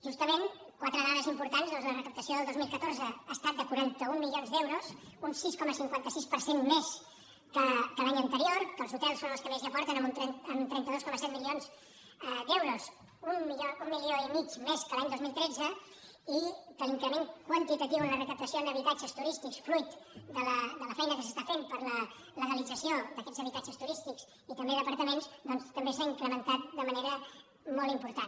justament quatre dades importants la recaptació del dos mil catorze ha estat de quaranta un milions d’euros un sis coma cinquanta sis per cent més que l’any anterior que els hotels són els que més hi aporten amb trenta dos coma set milions d’euros un milió i mig més que l’any dos mil tretze i que l’increment quantitatiu en la recaptació en habitatges turístics fruit de la feina que s’està fent per la legalització d’aquests habitatges turístics i també d’apartaments doncs també s’ha incrementat de manera molt important